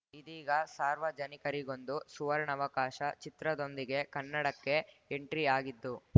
ಇದೀಗ ಸಾರ್ವಜನಿಕರಿಗೊಂದು ಸುವರ್ಣಾವಕಾಶ ಚಿತ್ರದೊಂದಿಗೆ ಕನ್ನಡಕ್ಕೆ ಎಂಟ್ರಿ ಆಗಿದ್ದು